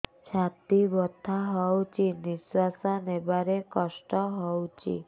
ଛାତି ବଥା ହଉଚି ନିଶ୍ୱାସ ନେବାରେ କଷ୍ଟ ହଉଚି